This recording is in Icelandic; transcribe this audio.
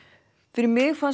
fyrir mig fannst